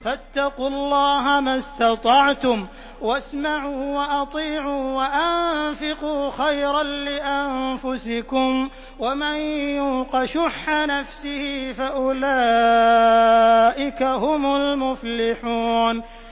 فَاتَّقُوا اللَّهَ مَا اسْتَطَعْتُمْ وَاسْمَعُوا وَأَطِيعُوا وَأَنفِقُوا خَيْرًا لِّأَنفُسِكُمْ ۗ وَمَن يُوقَ شُحَّ نَفْسِهِ فَأُولَٰئِكَ هُمُ الْمُفْلِحُونَ